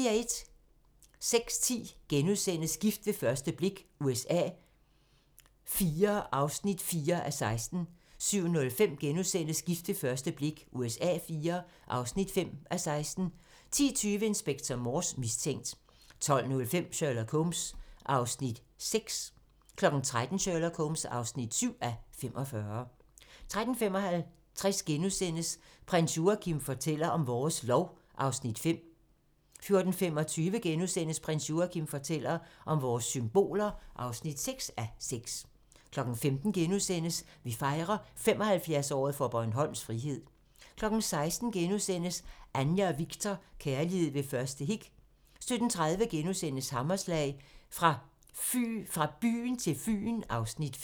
06:10: Gift ved første blik USA IV (4:16)* 07:05: Gift ved første blik USA IV (5:16)* 10:20: Inspector Morse: Mistænkt 12:05: Sherlock Holmes (6:45) 13:00: Sherlock Holmes (7:45) 13:55: Prins Joachim fortæller om vores lov (5:6)* 14:25: Prins Joachim fortæller om vores symboler (6:6)* 15:00: Vi fejrer 75-året for Bornholms frihed * 16:00: Anja og Viktor: Kærlighed ved første hik 2 * 17:30: Hammerslag - Fra byen til Fyn (Afs. 5)*